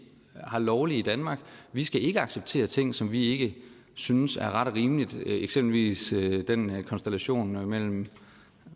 er lovlige i danmark vi skal ikke acceptere ting som vi ikke synes er ret og rimelige eksempelvis den konstellation mellem